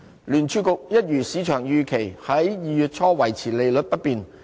聯儲局一如市場預期，在2月初維持利率不變。